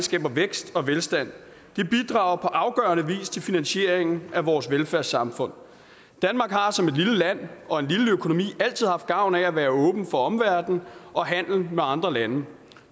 vækst og velstand det bidrager på afgørende vis til finansieringen af vores velfærdssamfund danmark har som et lille land og en lille økonomi altid haft gavn af at være åben for omverdenen og handel med andre lande